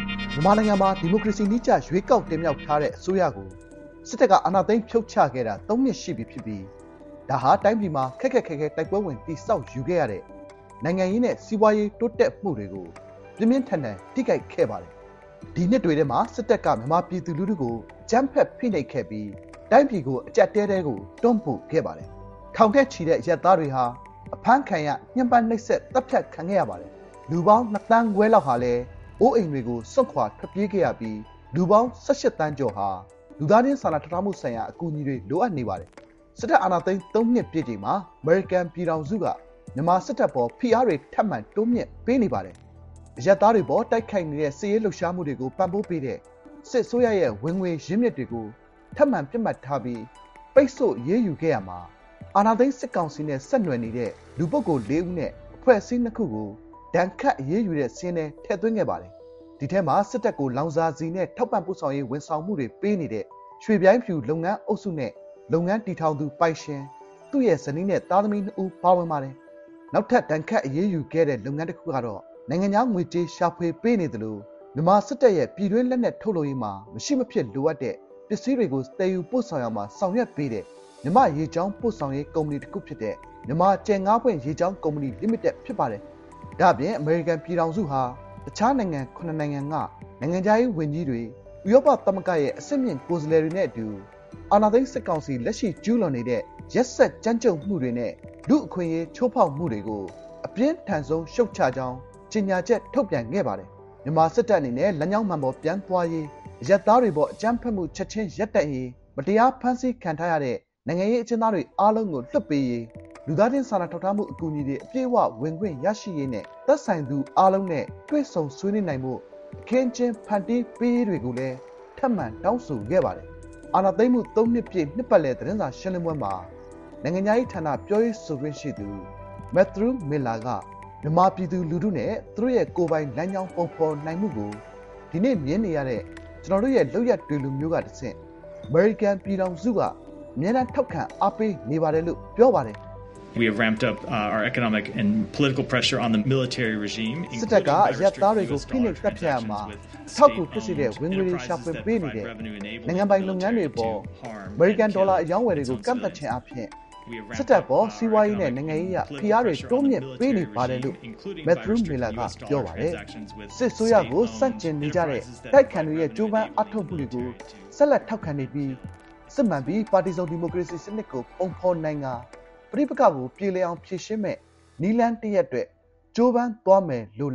မြန်မာနိုင်ငံမှာ ဒီမိုကရေစီနည်းကျ ရွေးကောက်တင်မြှောက်ထားတဲ့ အစိုးရကို စစ်တပ်က အာဏာသိမ်း ဖြုတ်ချခဲ့တာ သုံးနှစ်ရှိပြီဖြစ်ပြီး ဒါဟာ တိုင်းပြည်မှာ ခက်ခက်ခဲခဲ တိုက်ပွဲဝင် တည်ဆောက်ယူခဲ့ရတဲ့ နိုင်ငံရေးနဲ့ စီးပွားရေး တိုးတက်မှုတွေကို ပြင်းပြင်းထန်ထန် ထိခိုက်စေခဲ့ပါတယ်။ ဒီနှစ်တွေထဲမှာ စစ်တပ်က မြန်မာပြည်သူလူထုကို အကြမ်းဖက် ဖိနှိပ်ခဲ့ပြီး တိုင်းပြည်ကို အကျပ်အတည်းထဲကို တွန်းပို့ခဲ့ပါတယ်။ ထောင်နဲ့ချီတဲ့ အရပ်သားတွေဟာ အဖမ်းခံရ၊ ညှဉ်းပန်းနှိပ်စက် သတ်ဖြတ်ခံခဲ့ရပါတယ်။ လူပေါင်း ၂.၅ သန်းဟာ အိုးအိမ်တွေကို စွန့်ခွာထွက်ပြေးခဲ့ရပြီး လူပေါင်း ၁၈ သန်းကျော်ဟာ လူသားချင်းစာနာထောက်ထားမှုဆိုင်ရာ အကူအညီတွေ လိုအပ်နေပါတယ်။ စစ်တပ် အာဏာသိမ်း သုံးနှစ်ပြည့်ချိန်မှာ အမေရိကန်ပြည်ထောင်စုက မြန်မာစစ်တပ်အပေါ် ဖိအားတွေ ထပ်မံ တိုးမြင့် ပေးနေပါတယ်။ အရပ်သားတွေအပေါ် တိုက်ခိုက်နေတဲ့ စစ်ရေးလှုပ်ရှားမှုတွေကို ပံ့ပိုးပေးတဲ့ စစ်အစိုးရရဲ့ ၀င်ငွေရင်းမြစ်တွေကို ထပ်မံပစ်မှတ်ထားပြီး ပိတ်ဆို့ အရေးယူခဲ့ရာမှာ အာဏာသိမ်း စစ်ကောင်စီနဲ့ ဆက်နွယ်နေတဲ့ လူ ပုဂ္ဂိုလ် လေးဦးနဲ့ အဖွဲ့အစည်း နှစ်ခုကို ဒဏ်ခတ်အရေးယူတဲ့ စာရင်းထဲ ထည့်သွင်းခဲ့ပါတယ်။ ဒီထဲမှာ စစ်တပ်ကို လောင်စာဆီနဲ့ ထောက်ပံ့ပို့ဆောင်ရေး ဝန်ဆောင်မှုတွေ ပေးနေတဲ့ ရွှေဗျိုင်းဖြူလုပ်ငန်းအုပ်စုနဲ့ လုပ်ငန်းတည်ထောင်သူ ပိုင်ရှင်၊ သူရဲ့ ဇနီးနဲ့သား၊ သမီး နှစ်ဦးပါဝင်ပါတယ်။ နောက်ထပ် ဒဏ်ခတ် အရေးယူခဲ့တဲ့ လုပ်ငန်းတခုကတော့ နိုင်ငံခြားငွေကြေး ရှာဖွေပေးသလို မြန်မာစစ်တပ်ရဲ့ ပြည်တွင်းလက်နက်ထုတ်လုပ်ရေးမှာ မရှိမဖြစ်လိုအပ်တဲ့ ပစ္စည်းတွေကို သယ်ယူပို့ဆောင်ရာမှာ ဆောင်ရွက်ပေးတဲ့ မြန်မာ့ရေကြောင်း ပို့ဆောင်ရေး ကုမ္ပဏီတခုဖြစ်တဲ့ မြန်မာကြယ်ငါးပွင့်ရေကြောင်း ကုမ္ပဏီလိမိတက် ဖြစ်ပါတယ်။ ဒါ့အပြင် အမေရိကန် ပြည်ထောင်စုဟာ အခြားနိုင်ငံ ခုနစ်နိုင်ငံက နိုင်ငံခြားရေး ၀န်ကြီးတွေ၊ ဥရောပသမဂ္ဂရဲ့ အဆင့်မြင့် ကိုယ်စားလှယ်တွေနဲ့အတူ အာဏာသိမ်း စစ်ကောင်စီ လက်ရှိကျူးလွန်နေတဲ့ ရက်စက်ကြမ်းကြုတ်မှုတွေနဲ့ လူ့အခွင့်အရေး ချိုးဖောက်မှုတွေကို အပြင်းထန်ဆုံး ရှုတ်ချကြောင်း ကြေညာချက် ထုတ်ပြန်ခဲ့ပါတယ်။ မြန်မာစစ်တပ်အနေနဲ့ “လမ်းကြောင်းမှန်အပေါ် ပြန်သွားရေး၊ အရပ်သားတွေအပေါ် အကြမ်းဖက်မှု ချက်ချင်းရပ်တန့်ရေး၊ မတရားဖမ်းဆီးခံထားရတဲ့ နိုင်ငံရေးအကျဉ်းသားတွေအားလုံးကို လွှတ်ပေးရေး၊ လူသားချင်း စာနာထောက်ထားမှု အကူအညီတွေ အပြည့်အဝ ဝင်ခွင့်ရရှိရေးနဲ့ သက်ဆိုင်သူအားလုံးနဲ့ တွေ့ဆုံဆွေးနွေးနိုင်ဖို့ အခင်းအကျင်း ဖန်တီးပေးရေးတို့ကိုလည်း ထပ်မံတောင်းဆိုခဲ့ပါတယ်။ အာဏာသိမ်းမှု သုံးနှစ်ပြည့် နှစ်ပတ်လည် သတင်းစာရှင်းလင်းပွဲမှာ နိုင်ငံခြားရေးဌာန ပြောရေးဆိုခွင့်ရှိသူ Matthew Miller က “မြန်မာပြည်သူလူထုနဲ့ သူတို့ရဲ့ ကိုယ်ပိုင်လမ်းကြောင်း ပုံဖော်နိုင်မှုကို ဒီနေ့မြင်နေရတဲ့ ကျွန်တော်တို့ရဲ့ လုပ်ရပ်တွေလိုမျိုးကတဆင့် အမေရိကန် ပြည်ထောင်စုက အမြဲတမ်း ထောက်ခံ အားပေးနေပါတယ်” လို့ ပြောပါတယ်။ "စစ်တပ်က အရပ်သားတွေကို ဖိနှိပ် သတ်ဖြတ်ရာမှာ အထောက်အကူ ဖြစ်စေတဲ့ ဝင်ငွေတွေ ရှာဖွေပေးနေတဲ့ နိုင်ငံပိုင်လုပ်ငန်းတွေအပေါ် အမေရိကန် ဒေါ်လာအရောင်းအဝယ်တွေကို ကန့်သတ်ခြင်းအားဖြင့် စစ်တပ်အပေါ် စီးပွားရေးနဲ့ နိုင်ငံရေးအရ ဖိအားတွေ တိုးမြင့်ပေးနေပါတယ်။" ပြောရေးဆိုခွင့်ရှိသူ Miller က “စစ်အစိုးရကို ဆန့်ကျင်နေကြတဲ့ အတိုက်အခံတွေရဲ့ ကြိုးပမ်းအားထုတ်မှုတွေကို ဆက်လက်ထောက်ခံနေပြီး စစ်မှန်ပြီး ပါတီစုံဒီမိုကရေစီစနစ်ကို ပုံဖော်နိုင်ကာ ပဋိပက္ခကို ပြေလည်အောင်ဖြေရှင်းမယ့် နည်းလမ်းတရပ်အတွက် ကြိုးပမ်းသွားမှာပါ” လို့